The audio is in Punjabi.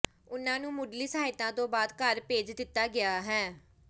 ਉਨ੍ਹਾਂ ਨੂੰ ਮੁੱਢਲੀ ਸਹਾਇਤਾ ਤੋਂ ਬਾਅਦ ਘਰ ਭੇਜ ਦਿੱਤਾ ਗਿਆ ਹੈ